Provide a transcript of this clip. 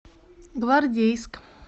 гвардейск